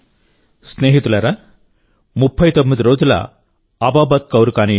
స్నేహితులారా 39 రోజుల అబాబత్ కౌర్ కానీయండి